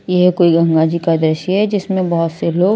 यह कोई गंगा जी का दृश्य जिसमें बहुत से लोग --